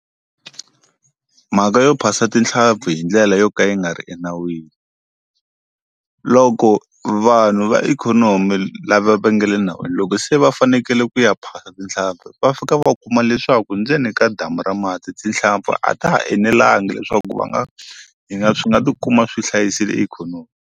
Mhaka yo phasa tinhlampfi hi ndlela yo ka yi nga ri enawini loko vanhu va ikhonomi lava va nge le nawini loko se va fanekele ku ya phasa tinhlampfi va fika va u kuma leswaku ndzeni ka damu ra mati tinhlampfi a ta ha enelangi leswaku va nga yi nga swi nga ti kuma swi hlayisile ikhonomi.